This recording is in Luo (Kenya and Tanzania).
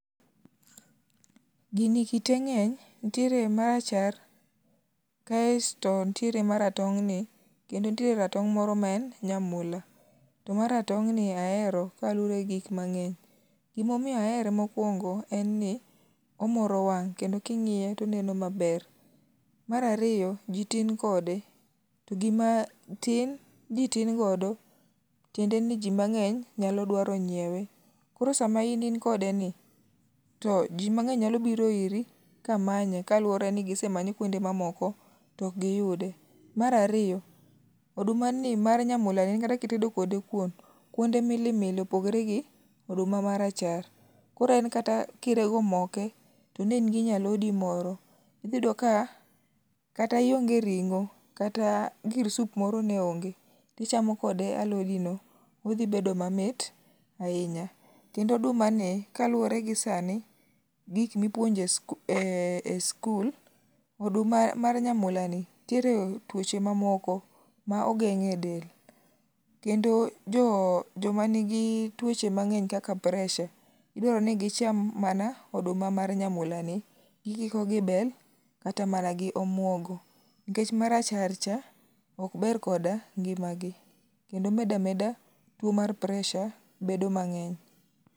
Gini kite ng'any, nitiere marachar, kasto nitiere maratong' ni kendo nitie ratong' moro maen nyamula. To maratong'ni ahero kaluwore gi gik mang'eny.. Gima omiyo ahere, omoro wang' kendo ka ing'iye to omoro wang'. Mar ariyo ji tin kode to gima tin, ji tin godo tiende ni ji mang'eny nyalo dwaro nyiewe koro sama in kodeno to ji nyalo biro iri kamanye matiende ni gisemanye kuonde mamoko to ok giyude. Mar ariyo, odumani mar nyamulani en kata kitedo kode kuon, kuonde milimili opogore gi oduma marachar. Koro en kata kirego moke to ne in gi nyalodi moro iyudo ka kata ionge ring'o kata gir sup moro ne onge to ichamo kode alodino. Odhi bedo mamit ahinya kendo odumani kaluwore gi sani gik mipuonjo e sikul oduma mar nyamulani nmitiere tuoche mamoko maogeng'edel kendo jomanigi tuoche mang'eny kaka peresha idwa ni gicham mana oduma mar nyamulani gikiko gi bel kata manaq gi omuogo nikech maracharcha ok ber kod ngimagi kendo medo ameda tuo mar peresa bedo mang'eny.